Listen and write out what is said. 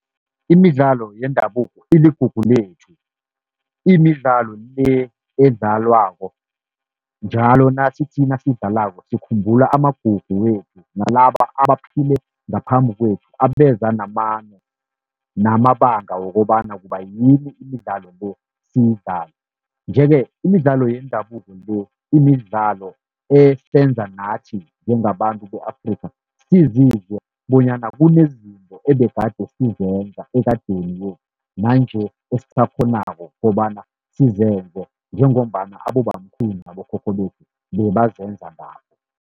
Imidlalo yendabuko iligugu lethu, imidlalo le edlalwako njalo nasithi nasidlalako sikhumbula amagugu wethu nalaba abaphile ngaphambi kwethu, abeza namano namabanga wokobana kubayini imidlalo le siyidlale. Nje-ke imidlalo yendabuko le, imidlalo esenza nathi njengabantu be-Afrikha sizizwe bonyana, kunezinto ebegade sizenza ekadeni nanje esisakghonako kobana sizenze. Njengombana abobamkhulu nabokhokho bethu bebazenza nabo.